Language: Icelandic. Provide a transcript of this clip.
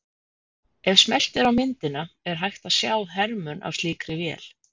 Ef smellt er á myndina er hægt að sjá hermun af slíkri vél.